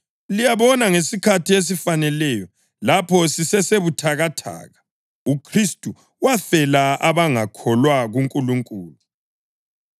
Liyabona, ngesikhathi esifaneleyo, lapho sisesebuthakathaka, uKhristu wafela abangakholwa kuNkulunkulu.